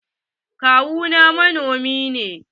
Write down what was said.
Kawu na manomi ne.